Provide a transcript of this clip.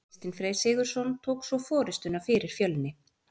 Kristinn Freyr Sigurðsson tók svo forystuna fyrir Fjölni.